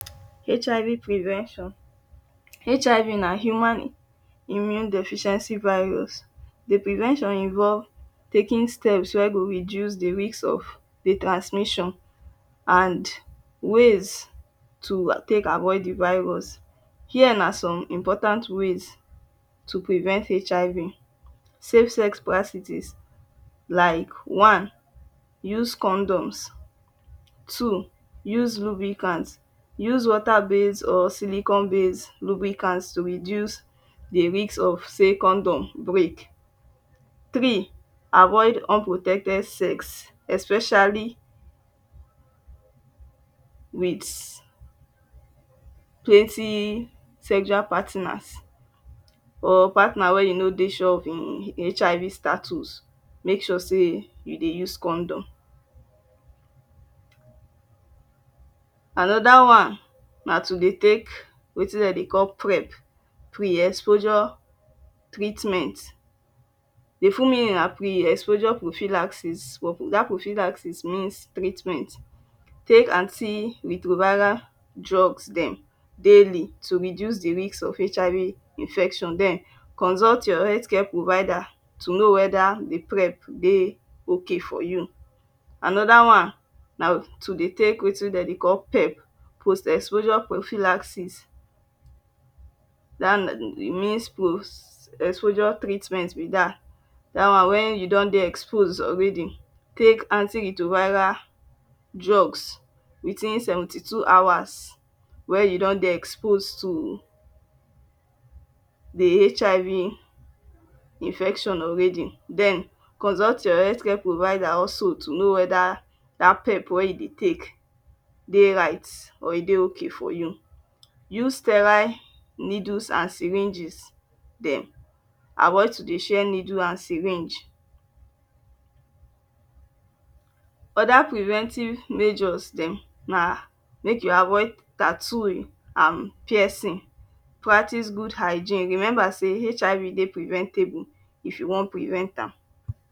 Hiv prevention HIV na human immune deficiency virus dey prevention involve taking steps wey go reduce de risk of de transmission and ways to tek avoid de virus here na some important ways to prevent HIV safe sex practices like one use condom’s two use lubricant use water base or silicon base Lubricant to reduce de risk of say condom break three avoid unprotected sex especially with plenty sexual partners or partners wey you no dey sure of him hiv status make sure say you dey use condom anoda one na to dey tek wetin dem dey call prep pre exposure treatment the full meaning na pre exposure profilacsis but dat profilacsis means treatment tek anti retroviral drugs dem daily to reduce de risk of HIV infection den consult your health care provider to know weda de prep dey okay for you anoda one na to dey tek wetin dey call pep post exposure profilacsis e means post exposure treatment be dat one wen you don dey exposed already Tek anti retroviral drugs within 72 hours wey you don dey exposed to de hiv infection already den consult your health care provider also to know weda dat pep wey you dey Tek dey right or e dey okay for you use sterile needles an syringes dem avoid to dey share needle an syringe other preventive measures dem na make you avoid tattooing an piercing practice good hygiene remember say hiv dey preventable if you wan prevent am.